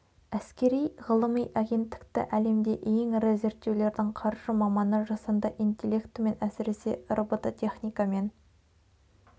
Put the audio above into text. әскери ғылыми агенттікті әлемде ең ірі зерттеулердің қаржы маманы жасанды интелектімен әсіресе робототехникамен